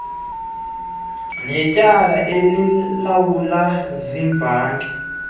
netyala ilawulwa ziibhanki